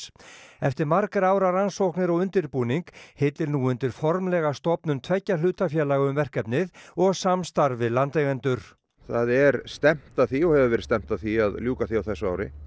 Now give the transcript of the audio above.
eftir margra ára rannsóknir og undirbúning hillir nú undir formlega stofnun tveggja hlutafélaga um verkefnið og samstarf við landeigendur það er stefnt að því og hefur verið stefnt að því að ljúka því á þessu ári